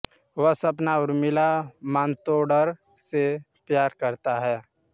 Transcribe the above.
वह सपना उर्मिला मातोंडकर से प्यार करता है